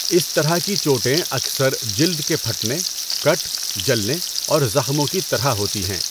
اس طرح کی چوٹیں اکثر جلد کے پھٹنے، کٹ، جلنے اور زخموں کی طرح ہوتی ہیں۔